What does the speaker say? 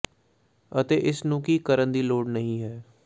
ਅਤੇ ਇਸ ਨੂੰ ਕੀ ਕਰਨ ਦੀ ਲੋੜ ਨਹੀ ਹੈ